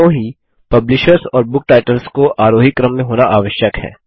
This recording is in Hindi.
दोनों ही पब्लिशर्स और बुक टाइटल्स को आरोही क्रम में होना आवश्यक है